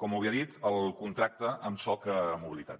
com molt bé ha dit el contracte amb soc mobilitat